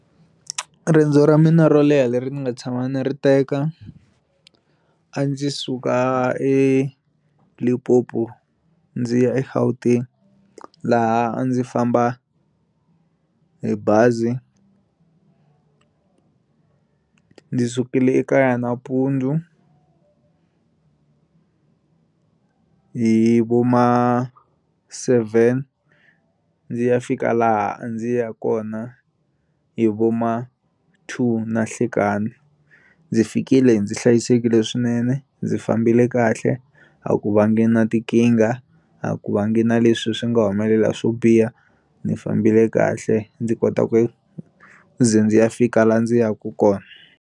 Riendzo ra mina ro leha leri ni nga tshama ni ri teka a ndzi suka eLimpopo ndzi ya eGauteng laha a ndzi famba hi bazi ndzi sukile ekaya nampundzu hi voma seven ndzi ya fika laha a ndzi ya kona hi voma two nahlikani ndzi fikile ndzi hlayisekile swinene ndzi fambile kahle a ku vangi na tikinga a ku va ngi na leswi swi nga humelela swo biha ndzi fambile kahle ndzi kota ku ze ndzi ya fika laha ndzi yaka kona.